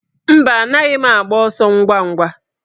Mba, anaghị m agba ọsọ ngwa ngwa